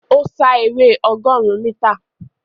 Ó sá eré ọgọ́rùn-ún mítà